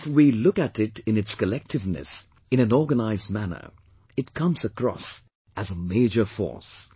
If we look at it in its collectiveness, in an organised manner, it comes across as a major force